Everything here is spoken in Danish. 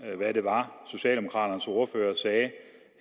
hvad det var socialdemokraternes ordfører sagde